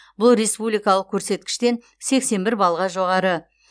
бұл республикалық көрсеткіштен сексен бір балға жоғары